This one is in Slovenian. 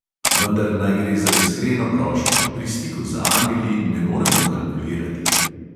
Vendar naj gre za iskreno prošnjo, pri stiku z angeli ne moremo kalkulirati.